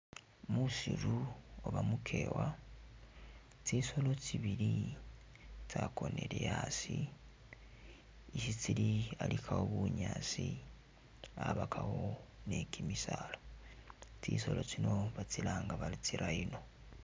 Musiru oba mukewa, tsisoolo tsibili tsakonile asii, isi tsili alikawo bunyaasi abakawo niki misaala, tsisoolo tsino batsilanga bari tsi'rhino